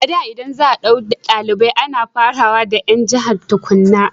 a da in za a dauka dalibai ana fara daga 'yan jahar tukunna